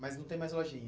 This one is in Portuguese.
Mas não tem mais lojinha?